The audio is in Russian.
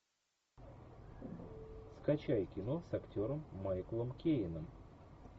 скачай кино с актером майклом кейном